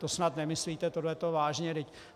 To snad nemyslíte tohleto vážně!